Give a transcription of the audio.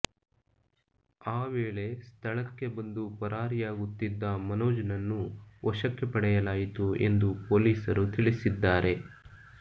ಈ ವೇಳೆ ಸ್ಥಳಕ್ಕೆ ಬಂದು ಪರಾರಿಯಾಗುತ್ತಿದ್ದ ಮನೋಜ್ ನನ್ನು ವಶಕ್ಕೆ ಪಡೆಯಲಾಯಿತು ಎಂದು ಪೊಲೀಸರು ತಿಳಿಸಿದ್ದಾರೆ